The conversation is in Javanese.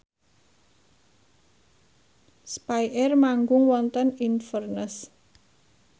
spyair manggung wonten Inverness